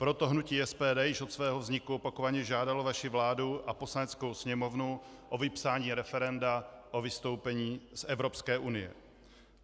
Proto hnutí SPD již od svého vzniku opakovaně žádalo vaši vládu a Poslaneckou sněmovnu o vypsání referenda o vystoupení z Evropské unie.